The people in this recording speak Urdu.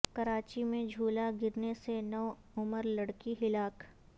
کراچی میں جھولا گرنے سے نو عمر لڑکی ہلاک